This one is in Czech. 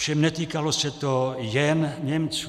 Ovšem netýkalo se to jen Němců.